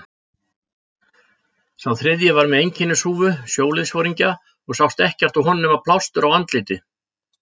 Sá þriðji var með einkennishúfu sjóliðsforingja og sást ekkert á honum nema plástur á andliti.